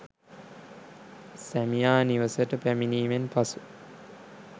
සැමියා නිවසට පැමිණීමෙන් පසු